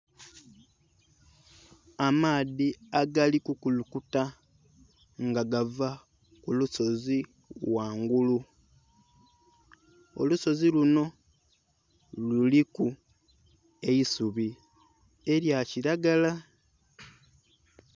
Amaadhi agali kukulukuta nga gava ku lusozi ghangulu. Olusozi linho luliku eisubi elya kilagala.